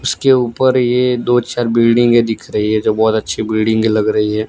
उसके ऊपर ये दो चार बिल्डिंगें के दिख रही है जो बहुत अच्छी बिल्डिंगें लग रही है।